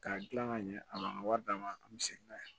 K'a dilan ka ɲɛ a b'an ka wari d'an ma a misɛnnin n'a ye